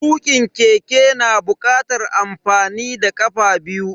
Tukin keke yana bukatar amfani da kafa biyu.